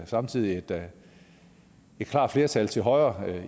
samtidig havde et klart flertal til højre